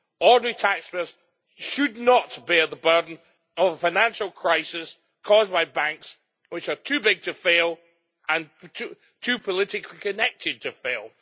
Ordinary taxpayers should not bear the burden of a financial crisis caused by banks which are too big to fail and too politically connected to fail.